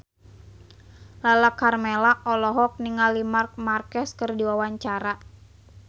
Lala Karmela olohok ningali Marc Marquez keur diwawancara